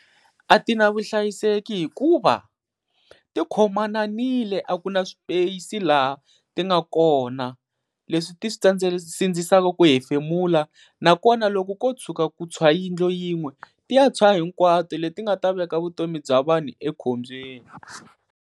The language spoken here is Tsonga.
A ti na vuhlayiseki hikuva ti khomananile a ku na swipesi laha ti nga kona, leswi ti sindzisaka ku hefemula nakona loko ko tshuka ku tshwa yindlu yin'we ti ya tshwa hinkwato, leti nga ta veka vutomi bya vanhu ekhombyeni.